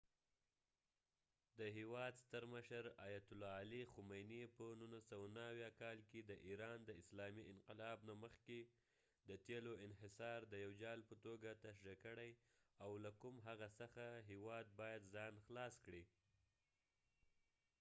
د هیواد ستر مشر، آیت الله علي خامنی په ۱۹۷۹ کال کې د ایران د اسلامي انقلاب نه مخکې د تیلو انحصار د یو جال په توګه تشریح کړی او له کوم هغه څخه هیواد باید ځان خلاص کړي